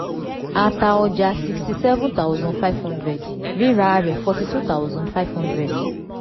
a ta ọjà sixty seven thousand five hundred rírà a rẹ̀ forty two thousand five hundred